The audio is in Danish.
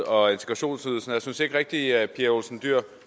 og integrationsydelsen og jeg synes ikke rigtig at pia olsen dyhr